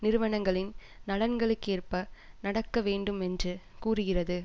நிறுவனங்களின் நலன்களுக்கேற்ப நடக்க வேண்டும் என்று கூறுகிறது